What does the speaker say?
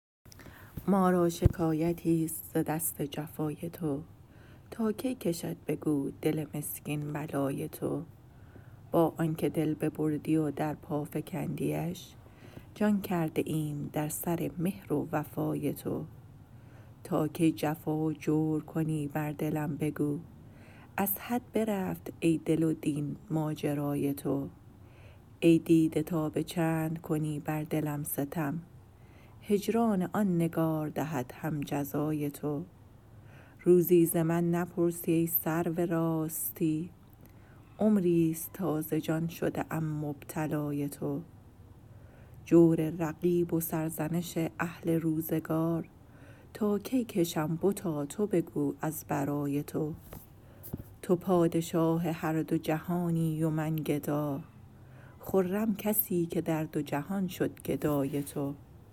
ما را شکایتیست ز دست جفای تو تا کی کشد بگو دل مسکین بلای تو با آن که دل ببردی و در پا فکندیش جان کرده ایم در سر مهر و وفای تو تا کی جفا و جور کنی بر دلم بگو از حد برفت ای دل و دین ماجرای تو ای دیده تا به چند کنی بر دلم ستم هجران آن نگار دهد هم جزای تو روزی ز من نپرسی ای سرو راستی عمریست تا ز جان شده ام مبتلای تو جور رقیب و سرزنش اهل روزگار تا کی کشم بتا تو بگو از برای تو تو پادشاه هر دو جهانی و من گدا خرم کسی که در دو جهان شد گدای تو